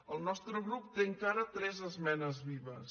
el nostre grup té encara tres esmenes vives